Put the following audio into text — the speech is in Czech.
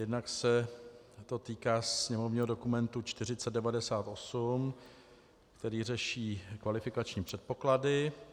Jednak se to týká sněmovního dokumentu 4098, který řeší kvalifikační předpoklady.